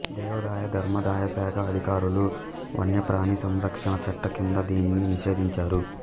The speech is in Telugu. దేవాదాయ ధర్మాదాయ శాఖ అధికారులు వన్యప్రాణి సంరక్షణ చట్ట కింద దీనిని నిషేధించారు